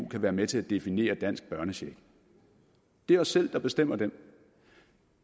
kan være med til at definere dansk børnecheck det er os selv der bestemmer den